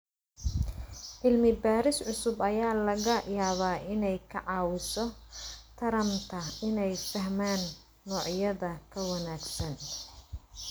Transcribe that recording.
Cilmi-baaris cusub ayaa laga yaabaa inay ka caawiso taranta inay fahmaan noocyada ka wanaagsan.